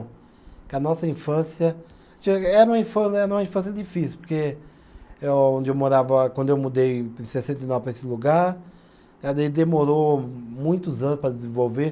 Que a nossa infância Era uma infância, era uma infância difícil, porque eh onde eu morava, quando eu mudei em sessenta e nove para esse lugar, demorou muitos anos para desenvolver.